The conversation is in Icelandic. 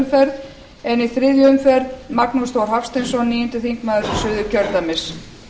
umferð en í þriðju umferð magnús þór hafsteinsson níundi þingmaður suðurkjördæmis